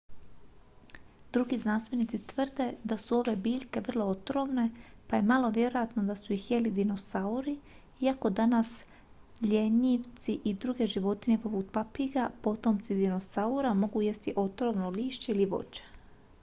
drugi znanstvenici tvrde da su ove biljke vrlo otrovne pa je malo vjerojatno da su ih jeli dinosauri iako danas ljenjivci i druge životinje poput papiga potomci dinosaura mogu jesti otrovno lišće ili voće